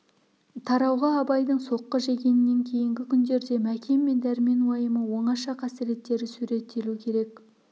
тарауға абайдың соққы жегенінен кейінгі күндерде мәкен мен дәрмен уайымы оңаша қасіреттері суреттелу керек